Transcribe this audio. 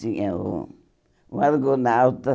Tinha o o Argonautas.